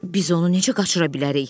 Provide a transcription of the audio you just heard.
Biz onu necə qaçıra bilərik?